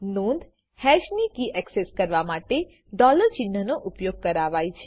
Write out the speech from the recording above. નોંધ હેશ ની key access કરવા માટે ડોલર ચિન્હનો ઉપયોગ કરાવાય છે